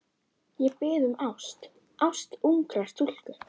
Ég bið um ást, ást ungrar stúlku.